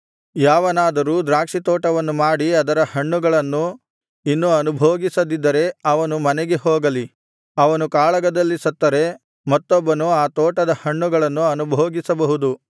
ಯಾವನಾದರೂ ದ್ರಾಕ್ಷಿತೋಟವನ್ನು ಮಾಡಿ ಅದರ ಹಣ್ಣುಗಳನ್ನು ಇನ್ನೂ ಅನುಭೋಗಿಸದಿದ್ದರೆ ಅವನು ಮನೆಗೆ ಹೋಗಲಿ ಅವನು ಕಾಳಗದಲ್ಲಿ ಸತ್ತರೆ ಮತ್ತೊಬ್ಬನು ಆ ತೋಟದ ಹಣ್ಣುಗಳನ್ನು ಅನುಭೋಗಿಸಬಹುದು